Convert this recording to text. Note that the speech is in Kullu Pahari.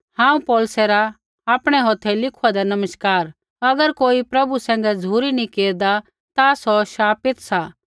हांऊँ पौलुसे रा आपणै हौथै लिखुआँदा नमस्कार अगर कोई प्रभु सैंघै झ़ुरी नी केरदा ता सौ शापित सा